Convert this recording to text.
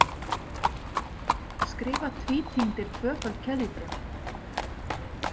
Skrifa tvítyngdir tvöföld kveðjubréf?